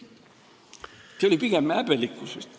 See oli pigem häbelikkusest.